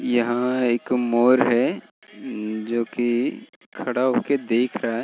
यहाँ एक मोर है जो की खड़ा होके देख रहा है ।